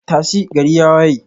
tashi, gari ya waye.